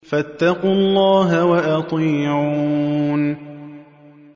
فَاتَّقُوا اللَّهَ وَأَطِيعُونِ